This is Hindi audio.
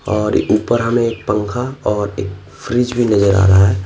और ऊपर हमें एक पंखा और एक फ्रिज भी नजर आ रहा हैं।